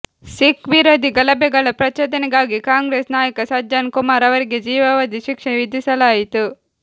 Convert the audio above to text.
ಸಿಖ್ ವಿರೋಧಿ ಗಲಭೆಗಳ ಪ್ರಚೋದನೆಗಾಗಿ ಕಾಂಗ್ರೆಸ್ ನಾಯಕ ಸಜ್ಜನ್ ಕುಮಾರ್ ಅವರಿಗೆ ಜೀವಾವಧಿ ಶಿಕ್ಷೆ ವಿಧಿಸಲಾಯಿತು